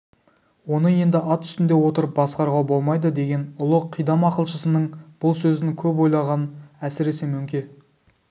оны енді ат үстінде отырып басқаруға болмайдыдеген ұлы қидам ақылшысының бұл сөзін көп ойлаған әсіресе мөңке